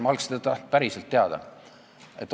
Ma oleksin päriselt seda teada tahtnud.